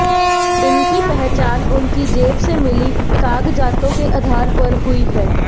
इनकी पहचान उनकी जेब से मिली कागजातों के आधार पर हुई है